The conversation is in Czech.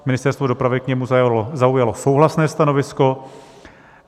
Ministerstvo dopravy k němu zaujalo souhlasné stanovisko.